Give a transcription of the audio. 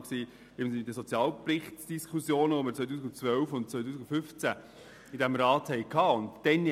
In den Diskussionen zum Sozialbericht, die wir 2012 und 2015 in diesem Rat führten, war diese Massnahme fast unbestritten.